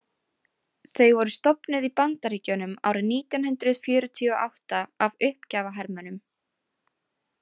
Þau voru stofnuð í Bandaríkjunum árið nítján hundrað fjörutíu og átta af uppgjafahermönnum.